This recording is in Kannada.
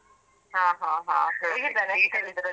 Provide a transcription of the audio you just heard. ಹ ಹ ಹ ಹೇಗಿದ್ದಾರೆ ಕಲಿಯುದ್ರಲ್ಲಿ?